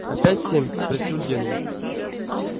опять семь спросил генри